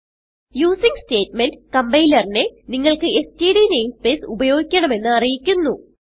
using statement കംപൈലറിനെ നിങ്ങൾക്ക് STD namespace ഉപയോഗിക്കണമെന്ന് അറിയിക്കുന്നു